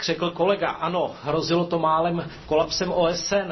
Jak řekl kolega, hrozilo to málem kolapsem OSN.